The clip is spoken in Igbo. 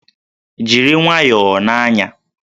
Jiri nwayọọ na-anya!